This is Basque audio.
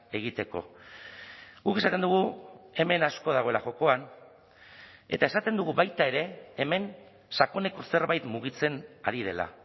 egiteko guk esaten dugu hemen asko dagoela jokoan eta esaten dugu baita ere hemen sakoneko zerbait mugitzen ari dela